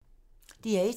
DR1